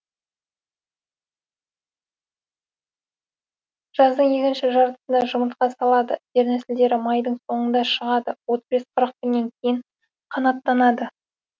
жаздың екінші жартысында жұмыртқа салады дернәсілдері майдың соңында шығады отыз бес қырық күннен кейін қанаттанады